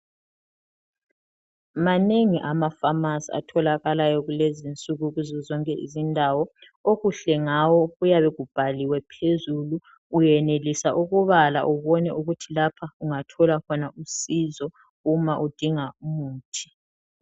Manengi ama pharmacy atholakalayo I kulezinsuku kuzozonke izindawo .okuhle ngawo kuyabe kubhaliwe phezulu uyenelisa ubala ubone ukuthi lapha ungathola khona usizo u ma udinga umuthi.